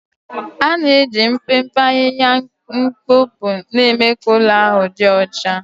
ana-eji mpempe ahịhịa mkpopu na-eme ka ụlọ ahụ dị ọcha.